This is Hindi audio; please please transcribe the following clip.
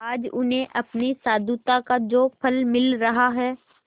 आज उन्हें अपनी साधुता का जो फल मिल रहा है